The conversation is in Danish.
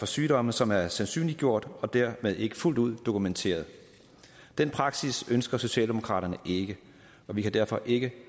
sygdomme som er sandsynliggjort og dermed ikke fuldt ud dokumenteret den praksis ønsker socialdemokraterne ikke og vi kan derfor ikke